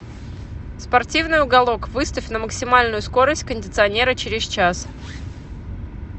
спортивный уголок выставь на максимальную скорость кондиционера через час